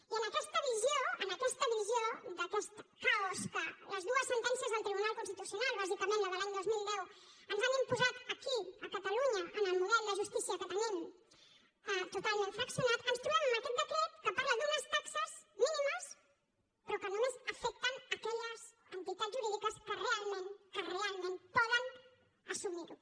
i en aquesta visió en aquesta visió d’aquest caos que les dues sentències del tribunal constitucional bàsicament la de l’any dos mil deu ens han imposat aquí a catalunya en el model de justícia que tenim totalment fraccionat ens trobem amb aquest decret que parla d’unes taxes mínimes però que només afecten aquelles entitats jurídiques que realment poden assumir ho